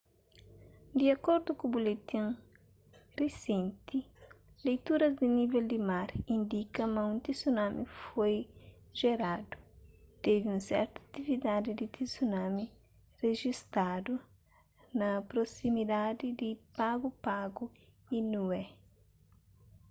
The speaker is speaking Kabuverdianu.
di akordu ku buletin risenti leituras di nível di mar indika ma un tsunami foi jeradu tevi un sertu atividadi di tsunami rejistadu na prosimidadi di pago pago y niue